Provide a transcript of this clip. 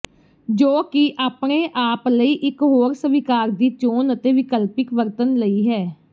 ਜੋ ਕਿ ਆਪਣੇ ਆਪ ਲਈ ਇੱਕ ਹੋਰ ਸਵੀਕਾਰ ਦੀ ਚੋਣ ਅਤੇ ਵਿਕਲਪਿਕ ਵਰਤਣ ਲਈ ਹੈ